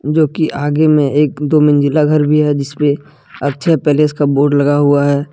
जो कि आगे में एक दो मंजिला घर भी है जिसपे अक्षय पैलेस का बोर्ड लगा हुआ है।